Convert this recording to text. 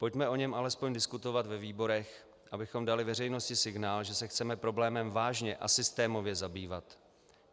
Pojďme o něm alespoň diskutovat ve výborech, abychom dali veřejnosti signál, že se chceme problémem vážně a systémově zabývat.